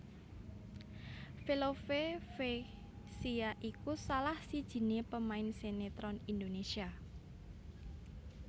Velove Vexia iku salah sijiné pemain sinetron Indonésia